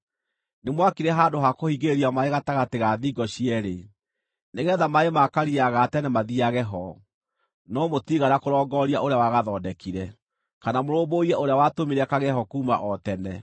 Nĩmwakire handũ ha kũhingĩrĩria maaĩ gatagatĩ ga thingo cierĩ, nĩgeetha maaĩ ma Karia ga Tene mathiiage ho, no mũtiigana kũrongooria Ũrĩa wagathondekire, kana mũrũmbũiye Ũrĩa watũmire kagĩe ho kuuma o tene.